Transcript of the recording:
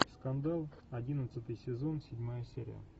скандал одиннадцатый сезон седьмая серия